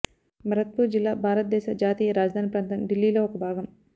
భరత్పూర్ జిల్లా భారతదేశ జాతీయ రాజధాని ప్రాంతం ఢిల్లీలో ఒక భాగం